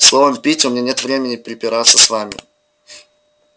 словом питти у меня нет времени препираться с вами